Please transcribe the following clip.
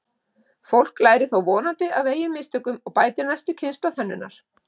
Fólk lærir þó vonandi af eigin mistökum og bætir næstu kynslóð hönnunar.